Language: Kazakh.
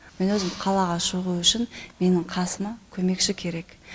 мен өзім қалаға шығу үшін менің қасыма көмекші керек